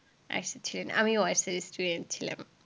arts এর ছিলেন। আমিও arts এরই student ছিলাম।